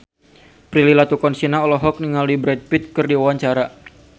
Prilly Latuconsina olohok ningali Brad Pitt keur diwawancara